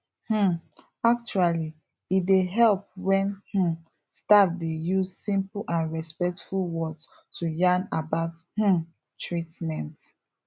um actually e dey help wen um staff dey use simple and respectful words to yarn about um treatments